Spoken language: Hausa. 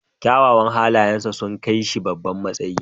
Kyawawan halayensa sun kai shi babban matsayi.